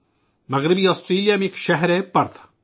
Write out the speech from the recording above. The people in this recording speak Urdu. مغربی آسٹریلیا کا ایک شہر ہے پرتھ